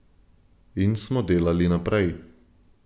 In smo delali naprej.